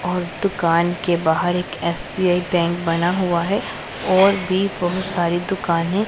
और दुकान के बाहर एक एस_बी_आई बैंक बना हुआ है और भी बहुत सारी दुकाने--